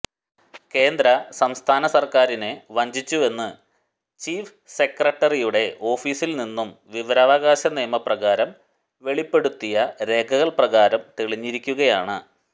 കേന്ദ്ര സംസ്ഥാന സർക്കാരിനെ വഞ്ചിച്ചുവെന്ന് ചീഫ് സെക്രട്ടറിയുടെ ഓഫീസിൽ നിന്നും വിവരാവകാശ നിയമപ്രകാരം വെളിപ്പെടുത്തിയ രേഖകൾ പ്രകാരം തെളിഞ്ഞിരിക്കുകയാണ്